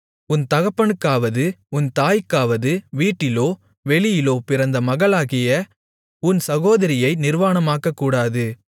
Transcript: உன் தகப்பனுக்காவது உன் தாய்க்காவது வீட்டிலோ வெளியிலோ பிறந்த மகளாகிய உன் சகோதரியை நிர்வாணமாக்கக்கூடாது